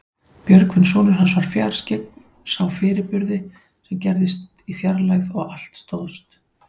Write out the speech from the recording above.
Björgvin sonur hans var fjarskyggn, sá fyrirburði sem gerðust í fjarlægð og allt stóðst.